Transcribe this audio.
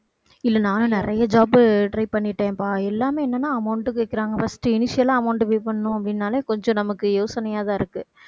இல்லை நானும் நிறைய job try பண்ணிட்டேன்பா எல்லாமே என்னென்ன amount கேக்குறாங்க. first ஆ amount pay பண்ணணும் அப்படின்னாலே கொஞ்சம் நமக்கு யோசனையாதான் இருக்கு.